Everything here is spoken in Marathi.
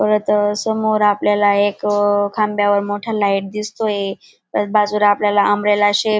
परत समोर आपल्याला एक खांबावर मोठा लाईट दिसतोय परत बाजूला आपल्याला अम्ब्रेला शेप --